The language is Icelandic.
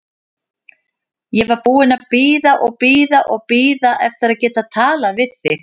Ég var búin að bíða og bíða og bíða eftir að geta talað við þig.